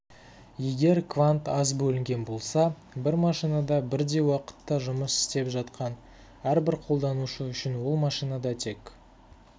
егер квант аз бөлінген болса бір машинада бірдей уақытта жұмыс істеп жатқан әрбір қолданушы үшін ол машинада тек